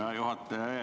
Hea juhataja!